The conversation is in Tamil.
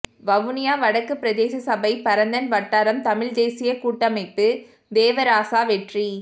வவுனியா வடக்கு பிரதேசசபை பரந்தன் வட்டாரம் தமிழ் தேசியக்கூட்டமைப்பு தேவராசா வெற்றி